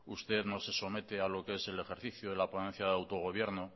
usted no se somete al ejercicio de la ponencia de autogobierno